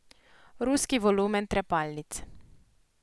Ruski volumen trepalnic.